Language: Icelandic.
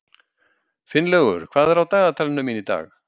Finnlaugur, hvað er á dagatalinu mínu í dag?